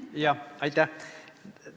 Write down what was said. Jah, aitäh!